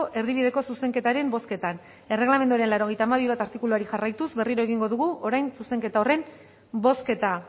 erdibideko zuzenketaren bozketan erregelamenduaren laurogeita hamabi puntu bat artikuluari jarraituz berriro egingo dugu orain zuzenketa horren bozketa